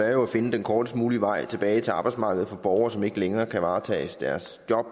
er jo at finde den kortest mulige vej tilbage til arbejdsmarkedet for borgere som ikke længere kan varetage deres job